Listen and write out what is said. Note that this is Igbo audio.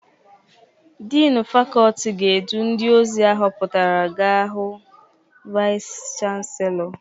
Dịnị fakọltị ga-edu ndị ozi ahụpụtara ga hụ vaịs chanselọ.